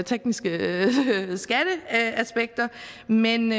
tekniske skatteaspekter men